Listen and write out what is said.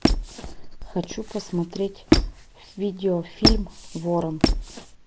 хочу посмотреть видеофильм ворон